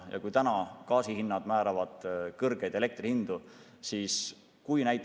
Täna määravad kõrgeid elektri hindu gaasi hinnad.